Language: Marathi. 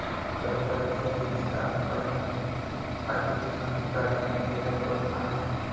बैलगाडी शर्यतीत आला पहिला, अतिउत्साहात गाडीतून गेला तोल, आणि...!